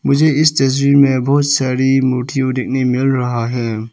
मुझे इस तस्वीर में बहोत सारी मिल रहा है।